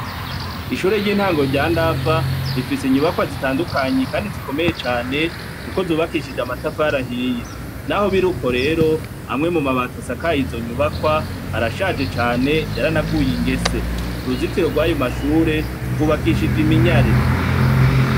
Ishure ry'intango rya ndava rifise inyubakwa zitandukanyi, kandi zikomeye cane, kuko zubakishije amatafarahiye, naho biri uko rero amwe mu mabata asakaye izo nyubakwa arashaje cane yaranaguye ingese uruzitiro rw'ayo mashure rwubakishije iminyare.